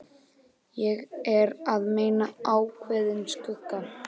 Ég er að meina ákveðinn skugga.